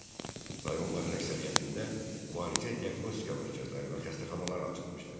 Rayonların əksəriyyətində müalicə-diaqnostika mərkəzləri və xəstəxanalar açılmışdır.